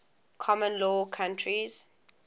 common law countries